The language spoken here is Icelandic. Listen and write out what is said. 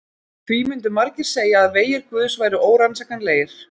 Því myndu margir segja að vegir guðs væru órannsakanlegir.